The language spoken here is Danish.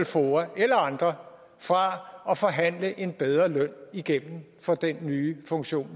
foa eller andre fra at forhandle en bedre løn igennem for den nye funktion